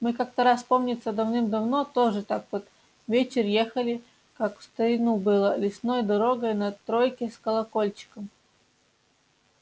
мы как-то раз помнится давным-давно тоже так под вечер ехали как в старину было лесной дорогой на тройке с колокольчиком